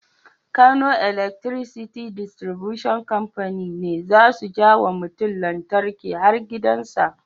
Kano Electricity Distribution Company ne zasu jawa mutun lantarki har gidan sa